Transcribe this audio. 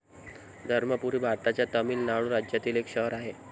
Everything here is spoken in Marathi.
धर्मपूरी भारताच्या तामीळनाडू राज्यातील एक शहर आहे.